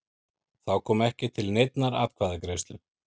Þá kom ekki til neinnar atkvæðagreiðslu